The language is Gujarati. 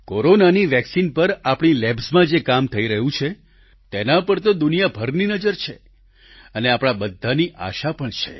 કોરોનાની વેક્સિન પર આપણી લેબ્સમાં જે કામ થઈ રહ્યું છે તેના પર તો દુનિયાભરની નજર છે અને આપણા બધાની આશા પણ છે